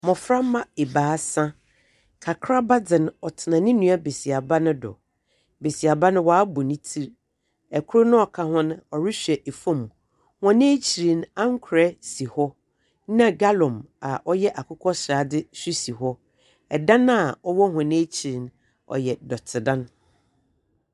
Mmɔframa ebaasa, kakraba dze no, ɔtena ne nua besiaba no do. Besiaba no woabɔ ne ti, ɛkoro noa ɔka ho no ɔrehwɛ efom. Hɔn ekyiri no, ankorɛ si hɔ na gallon a ɔyɛ akokɔ sradeɛ esi hɔ. Ɛdan a ɔwɔ hɔn ɛkyiri no ɔyɛ dɔte dan.